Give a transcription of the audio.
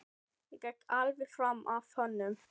Ég gekk alveg fram af honum.